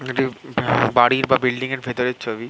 বাড়ির বা বিল্ডিং -এর ভেতরের ছবি।